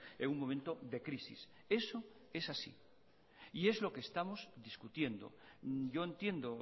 en un momento de crisis eso es así y es lo que estamos discutiendo yo entiendo